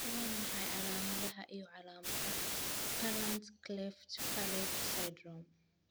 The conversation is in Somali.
Waa maxay calaamadaha iyo calaamadaha Palant cleft palate syndrome?